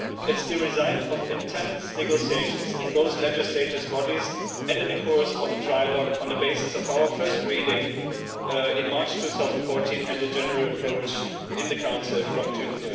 It is the result of intense negotiations in both legislators' bodies and in the course of a trilogue on the basis of our first reading in March 2014 and a general approach in the Council from June